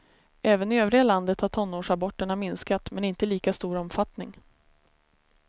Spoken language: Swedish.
Även i övriga landet har tonårsaborterna minskat, men inte i lika stor omfattning.